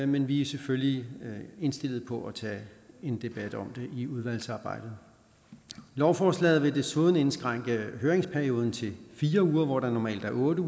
men vi er selvfølgelig indstillet på at tage en debat om det i udvalgsarbejdet lovforslaget vil desuden indskrænke høringsperioden til fire uger hvor der normalt er otte